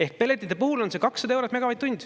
Ehk pelletite puhul on see 200 eurot megavatt-tund.